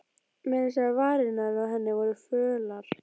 Meira að segja varirnar á henni voru fölar.